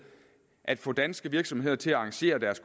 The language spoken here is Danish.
at få danske virksomheder til at arrangere deres